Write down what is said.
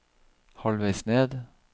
halvveis ned